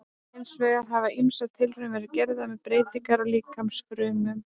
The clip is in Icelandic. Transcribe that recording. Hins vegar hafa ýmsar tilraunir verið gerðar með breytingar á líkamsfrumum.